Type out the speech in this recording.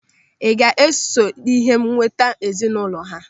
Ị ga-eso n'ihe nweta ezinụlọ ha?